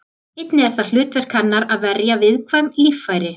Einnig er það hlutverk hennar að verja viðkvæm líffæri.